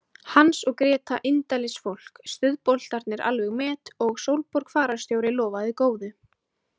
Hans og Gréta indælisfólk, stuðboltarnir alveg met og Sólborg fararstjóri lofaði góðu.